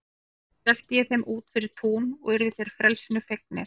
Síðan sleppti ég þeim út fyrir tún og urðu þeir frelsinu fegnir.